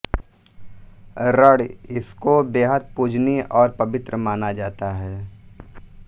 रण इसको बेहद पूजनीय और पवित्र माना जाता है